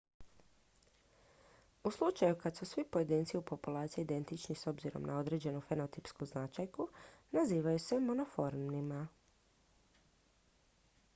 u slučaju kad su svi pojedinci u populaciji identični s obzirom na određenu fenotipsku značajku nazivaju se monomorfnima